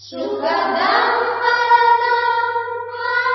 ಸುಖದಾಂ ವರದಾಂ ಮಾತರಂ